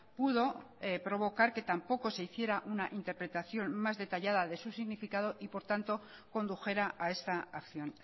pudo provocar que tampoco se hiciera una interpretación más detallada de su significado y por tanto condujera a esta acción